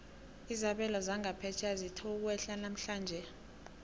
izabelo zangaphetjheya zithe ukwehla namhlanje